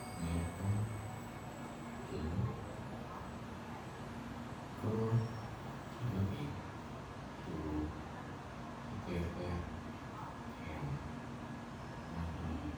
Kongeten keny ko kikobit tuguk Che terter en ngwonynduni